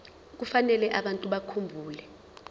kufanele abantu bakhumbule